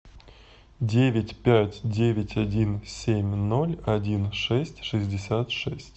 девять пять девять один семь ноль один шесть шестьдесят шесть